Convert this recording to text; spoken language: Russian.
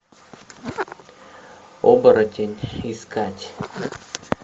оборотень искать